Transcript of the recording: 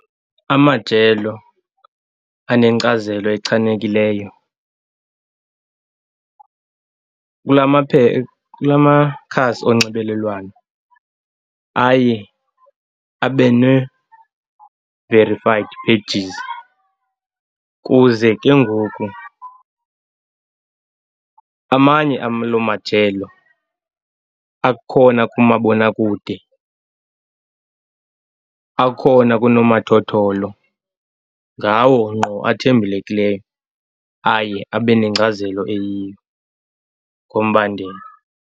Amajelo anenkcazelo echanekileyo kula makhasi onxibelelwano aye abe ne-verified pages ukuze ke ngoku, amanye aloo majelo akhona kumabonakude, akhona kunomathotholo, ngawo ngqo athembelekileyo, aye abe nengcazelo eyiyo ngombandela.